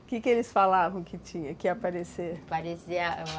O que que eles falavam que tinha, que ia aparecer? Aparecer